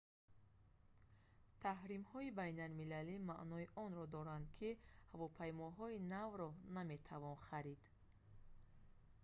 таҳримҳои байналмилалӣ маънои онро доранд ки ҳавопаймоҳои навро наметавон харид